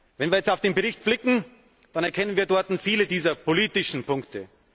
Wenn wir jetzt auf den Bericht blicken, dann erkennen wir dort viele dieser politischen Punkte.